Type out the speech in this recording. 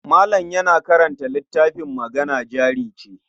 Malam yana karanta littafin Magana Jari Ce.